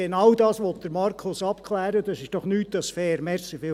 Genau dies will Markus Wenger abklären und dies ist doch nicht mehr als fair.